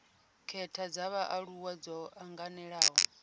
khetha dza vhaaluwa dzo anganelaho